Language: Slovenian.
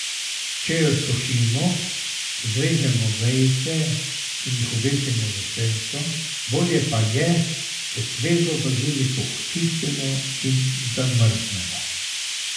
Če jo sušimo, zvežemo vejice in jih obesimo v senco, bolje pa je, če svežo baziliko očistimo in zamrznemo.